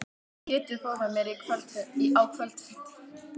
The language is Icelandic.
Pétur fór með mér á kvöldfundinn.